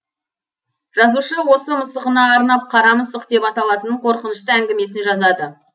жазушы осы мысығына арнап қара мысық деп аталатын қорқынышты әңгімесін жазады